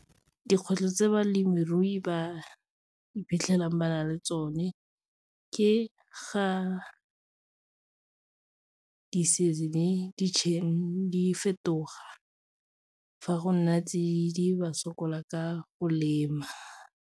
Dikgwetlho tse balemirui ba iphitlhelang ba na le tsone ke ga di-season di fetoga, fa go nna tsididi ba sokola ka go lema.